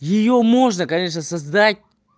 её можно конечно создать